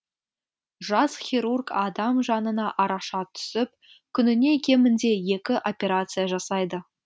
жас хирург адам жанына араша түсіп күніне кемінде екі операция жасайды